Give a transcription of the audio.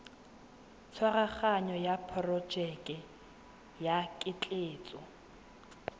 tshwaraganyo ya porojeke ya ketleetso